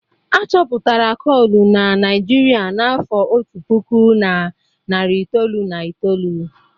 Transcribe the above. Achọpụtara kolu na Naịjirịa n'afọ otu puku na narị itoolu na itoolu.